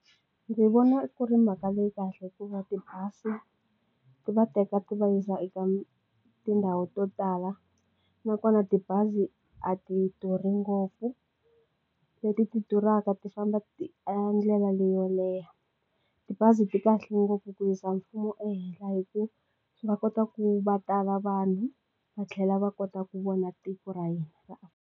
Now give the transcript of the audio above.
Ndzi vona ku ri mhaka leyi kahle hikuva tibazi ti va teka ti va yisa eka tindhawu to tala na kona tibazi a ti duri ngopfu leti ti durhaka ti famba ndlela leyo leha tibazi ti kahle ngopfu ku yisa mfumo ehenhla hi ku va kota ku va tala va vanhu va tlhela va kota ku vona tiko ra hina.